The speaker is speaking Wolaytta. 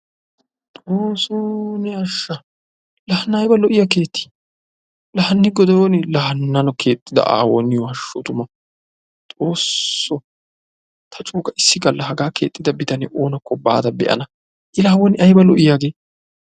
Xoosso ne ashsha! la hana aybba lo''iya keetti! la hani goday oone! la hano keexxida aawo niyo hashshu tumma! Xoosso! ta coo ga issi galla haga keexxida bitanee oonakko baada be'ana, I la wona aybba lo''i hagee!